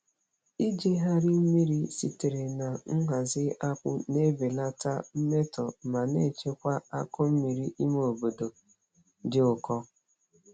Ijigharị mmiri sitere na nhazi akpụ na-ebelata mmetọ ma na-echekwa akụ mmiri ime obodo dị ụkọ.